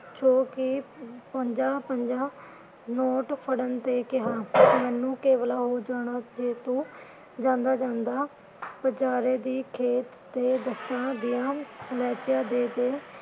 ਜੋ ਕਿ ਪੰਜਾ ਪੰਜਾ note ਫੜਨ ਦੇ ਕਿਹਾ । ਮੈਨੂੰ ਕੇਵਲ ਉਹ ਜਾਣਾ ਜੇ ਤੂੰ ਜਾਂਦਾ ਜਾਂਦਾ ਬਜਾਰੇ ਦੀ ਖੇਤ ਤੇ ਦਸਾ ਦਿਆ ਦੇ ਦੇ